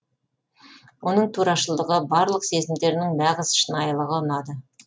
оның турашылдығы барлық сезімдерінің нағыз шынайылығы ұнады